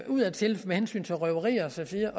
udadtil med hensyn til røverier og så videre